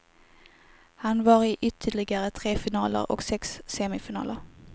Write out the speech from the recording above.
Han var i ytterligare tre finaler och sex semifinaler.